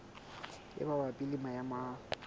e mabapi le maemo a